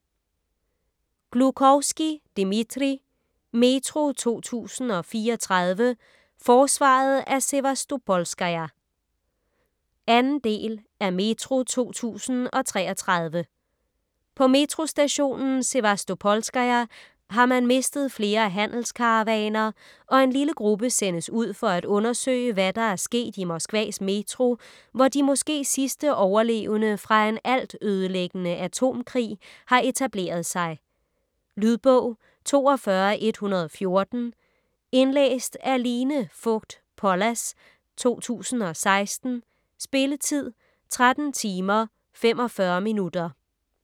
Gluchovskij, Dmitrij: Metro 2034: forsvaret af Sevastopolskaja 2. del af Metro 2033. På Metrostationen Sevastopolskaja har man mistet flere handelskaravaner, og en lille gruppe sendes ud for at undersøge, hvad der er sket i Moskvas Metro, hvor de måske sidste overlevende fra en altødelæggende atomkrig har etableret sig. . Lydbog 42114 Indlæst af Line Fogt Pollas, 2016. Spilletid: 13 timer, 45 minutter.